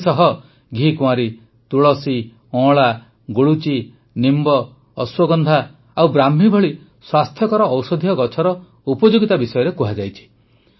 ଏଥିସହ ଘିକୁଆଁରୀ ତୁଳସୀ ଅଁଳା ଗୁଳୁଚି ନିମ୍ବ ଅଶ୍ୱଗନ୍ଧା ଓ ବ୍ରାହ୍ମୀ ଭଳି ସ୍ୱାସ୍ଥ୍ୟକର ଔଷଧୀୟ ଗଛର ଉପଯୋଗିତା ବିଷୟରେ କୁହାଯାଇଛି